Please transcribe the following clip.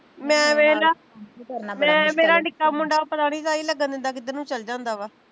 ਮੈਂ ਵੇਖਲਾ ਮੈਂ ਮੇਰਾ ਨਿੱਕਾ ਮੁੰਡਾ ਪਤਾ ਨੀ ਤਾਈ ਲੱਗਣ ਦਿੰਦਾ ਕਿੱਧਰ ਨੂੰ ਚੱਲ ਜਾਂਦਾ ਵਾ